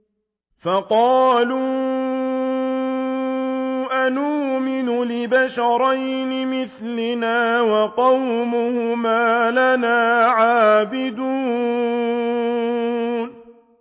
فَقَالُوا أَنُؤْمِنُ لِبَشَرَيْنِ مِثْلِنَا وَقَوْمُهُمَا لَنَا عَابِدُونَ